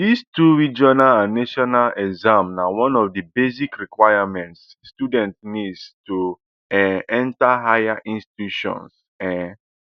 dis two regional and national exams na one of di basic requirements students need to um enta higher institutions um